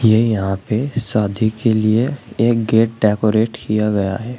ये यहां पे शादी के लिए एक गेट डेकोरेट किया गया है।